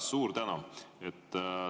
Suur tänu!